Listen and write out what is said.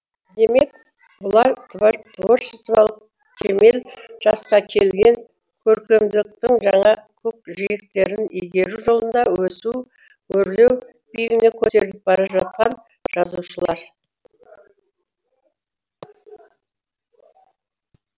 демек бұлар творчестволық кемел жасқа келген көркемдіктің жаңа көкжиектерін игеру жолында өсу өрлеу биігіне көтеріліп бара жатқан жазушылар